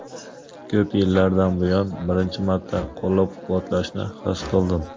Ko‘p yillardan buyon birinchi marta qo‘llab-quvvatlashni his qildim.